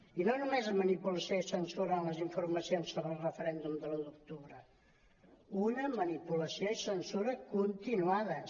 i no només manipulació i censura en les informacions sobre el referèndum de l’un d’octubre una manipulació i censura continuades